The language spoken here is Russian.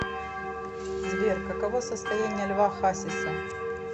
сбер каково состояние льва хасиса